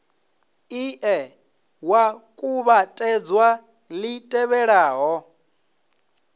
ie wa kuvhatedza li tevhelaho